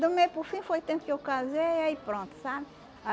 Do meio para o fim foi o tempo que eu casei e aí pronto, sabe?